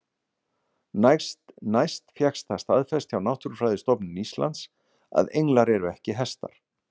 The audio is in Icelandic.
Næst fékkst það staðfest hjá Náttúrufræðistofnun Íslands að englar eru ekki hestar.